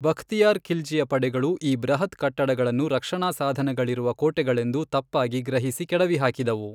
ಬಖ್ತಿಯಾರ್ ಖಿಲ್ಜಿಯ ಪಡೆಗಳು ಈ ಬೃಹತ್ ಕಟ್ಟಡಗಳನ್ನು ರಕ್ಷಣಾಸಾಧನಗಳಿರುವ ಕೋಟೆಗಳೆಂದು ತಪ್ಪಾಗಿ ಗ್ರಹಿಸಿ ಕೆಡವಿಹಾಕಿದವು.